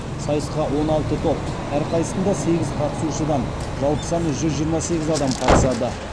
сайысқа он алты топ әрқайсысында сегіз қатысушыдан жалпы саны жүз жиырма сегіз адам қатысады